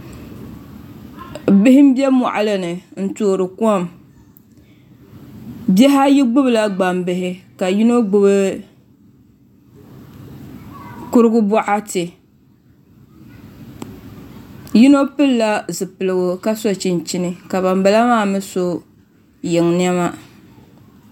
Bihi n bɛ moɣali ni n toori kom bihi ayi gbubila gbambihi ka yino gbubi kurigu boɣati yino pilila zipiligu ka so chinchini ka ban bala maa mii so yiŋ niɛma